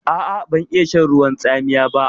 A'a, ban iya shan ruwan tsamiya ba.